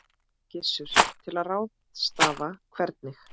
Gissur: Til að ráðstafa hvernig?